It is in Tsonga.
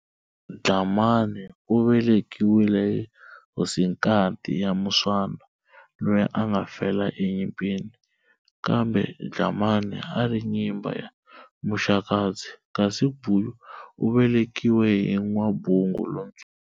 Dlhamani u velekiwile hi hosinkati ya Muswana, loyi a nga fela e nyimpini, kambe Dlhamani a ri nyimba ya Maxakadzi, kasi Guyu u velekiwile hi N'wabungu lontsonga.